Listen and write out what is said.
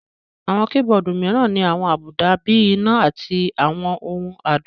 Àwọn keyboard mìíràn ní àwọn àbùdá bíi iná àti àwọn ohùn adùn